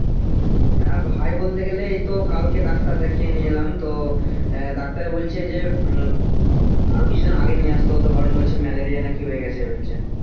হ্যাঁ ভাই বলতে গেলে এই তো কালকে ডাক্তার দেখিয়ে নিয়ে এলাম তো আহ ডাক্তার বলছে যে হম আরো কিছু দিন আগে নিয়ে আসতে হতো কারণ বলছে malaria নাকি হয়ে গেছে বলছে